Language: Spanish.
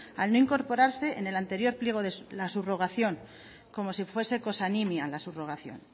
al no incorporarse en el anterior pliego la subrogación como si fuese cosa nimia la subrogación